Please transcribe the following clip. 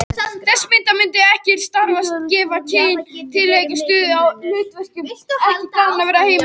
Þessi mismunandi starfsheiti gefa til kynna tiltekna stöðu eða hlutverk viðkomandi kennara innan stofnunarinnar.